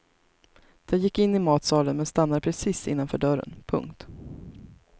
De gick in i matsalen men stannade precis innanför dörren. punkt